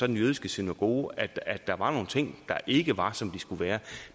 den jødiske synagoge at der var nogle ting der ikke var som de skulle være